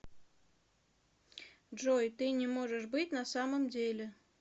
джой ты не можешь быть на самом деле